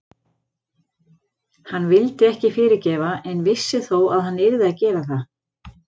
Hann vildi ekki fyrirgefa en vissi þó að hann yrði að gera það.